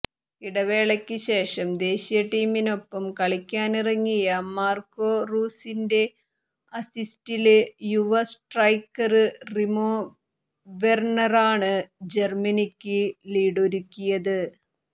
ഇടവേളയ്ക്ക് ശേഷം ദേശീയ ടീമിനൊപ്പം കളിക്കാനിറങ്ങിയ മാര്കോ റൂസിന്റെ അസിസ്റ്റില് യുവ സ്ട്രൈക്കര് ടിമോ വെര്ണറാണ് ജര്മനിക്ക് ലീഡൊരുക്കിയത്